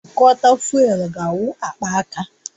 Injektọ fụ́élú ga-awụ akpaka